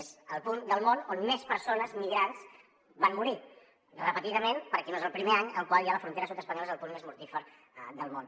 és el punt del món on més persones migrants van morir repetidament perquè no és el primer any en el qual ja la frontera sud espanyola és el punt més mortífer del món